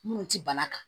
Minnu tɛ bana kan